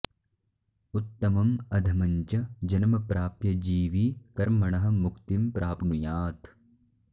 उत्तमम् अधमं च जन्म प्राप्य जीवी कर्मणः मुक्तिं प्राप्नुयात्